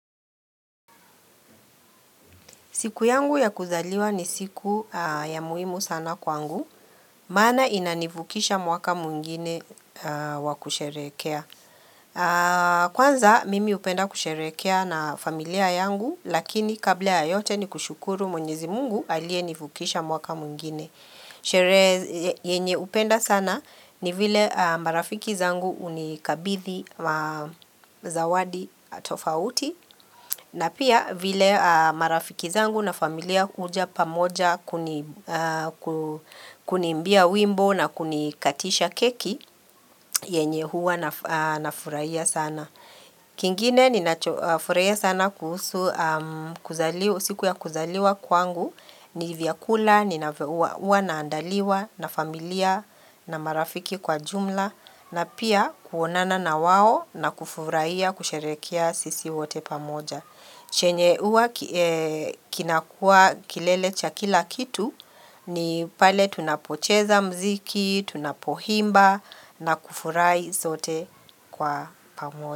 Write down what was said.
Siku yangu ya kuzaliwa ni siku ya muhimu sana kwangu, maana ina nivukisha mwaka mwingine wakusherehekea. Kwanza mimi upenda kusherehekea na familia yangu, lakini kabla ya yote ni kushukuru mwenyezi mungu alie nivukisha mwaka mwingine. Sherehe yenye upenda sana ni vile marafiki zangu unikabithi ma zawadi atofauti na pia vile marafiki zangu na familia uja pamoja kunimbia wimbo na kunikatisha keki yenye huwa na furaia sana. Kingine ninafurahia sana kuhusu kuzaliwa, siku ya kuzaliwa kwangu ni vyakula, ninavyohuwa na andaliwa na familia na marafiki kwa jumla na pia kuonana na wao na kufuraia kusherehekia sisi wote pamoja. Chenye uwa kinakuwa kilelecha kila kitu ni pale tunapocheza mziki, tunapohimba na kufurai zote kwa pamoja.